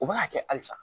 U b'a kɛ hali sa